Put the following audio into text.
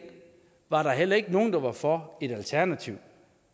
var der heller ikke nogen der var for et alternativ